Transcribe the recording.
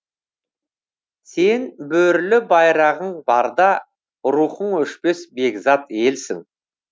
сен бөрілі байрағың барда рухың өшпес бекзат елсің